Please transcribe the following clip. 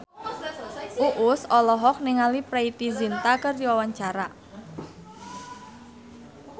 Uus olohok ningali Preity Zinta keur diwawancara